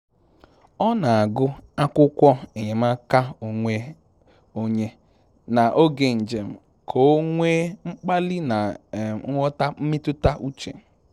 Ọ na-agụ akwụkwọ enyemaka onwe onye na oge njem ka o nwee mkpali na nghọta mmetụta uche